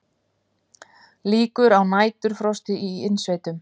Líkur á næturfrosti í innsveitum